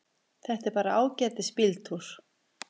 Þetta er bara ágætis bíltúr.